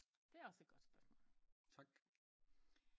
Det er også et godt spørgsmål